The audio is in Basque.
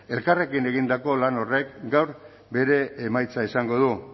elkarrekin egindako lan horrek gaur bere emaitza izango du